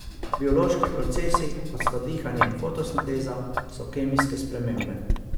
Biološki procesi, kot sta dihanje in fotosinteza, so kemijske spremembe.